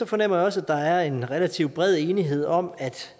fornemmer jeg også at der er en relativt bred enighed om at